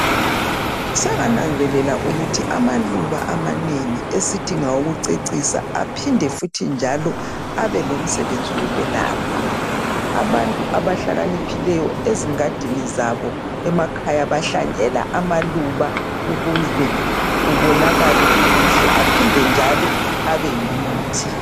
sengenga nanzelela ukuthi amaluba amanengiesithi ngawokucisa aphende futhi njalo abelomsebenzi wokuyelapha abantu abahlakaniphileyo ezingadini zabo emakhaya bahlanyela amaluba ukuze kubonakale kukuhle aphinde njalo abeyimithi